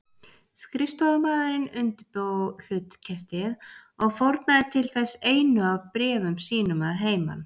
Skrifstofumaðurinn undirbjó hlutkestið og fórnaði til þess einu af bréfum sínum að heiman.